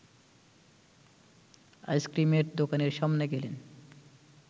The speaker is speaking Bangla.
আইসক্রিমের দোকানের সামনে গেলেন